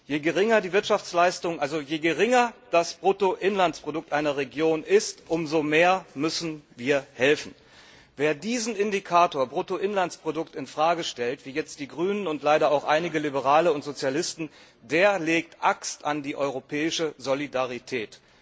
Je geringer das Bruttoinlandsprodukt einer Region ist, umso mehr müssen wir helfen. Wer diesen Indikator Bruttoinlandsprodukt in Frage stellt, wie jetzt die Grünen und leider auch einige Liberale und Sozialisten, der legt Axt an die europäische Solidarität.